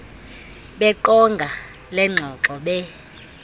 beqonga lengxoxo be